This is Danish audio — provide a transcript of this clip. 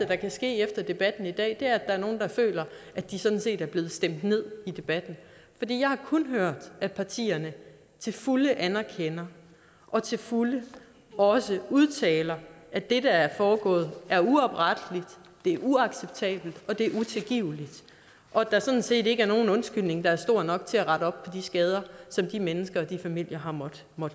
der kan ske efter debatten i dag er at der er nogle der føler at de sådan set er blevet stemt ned i debatten jeg har kun hørt at partierne til fulde anerkender og til fulde også udtaler at det der er foregået er uopretteligt det er uacceptabelt og det er utilgiveligt og der er sådan set ikke nogen undskyldning der er stor nok til at rette op på de skader som de mennesker og de familier har måttet